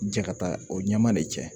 Jɛ ka taa o ɲɛma de cɛ